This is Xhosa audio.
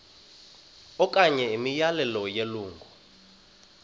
okanye imiyalelo yelungu